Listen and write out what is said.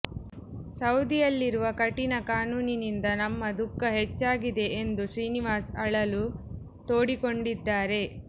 ಸೌದಿಯಲ್ಲಿರುವ ಕಠಿಣ ಕಾನೂನಿನಿಂದ ನಮ್ಮ ದುಃಖ ಹೆಚ್ಚಾಗಿದೆ ಎಂದು ಶ್ರೀನಿವಾಸ್ ಅಳಲು ತೋಡಿಕೊಂಡಿದ್ದಾರೆ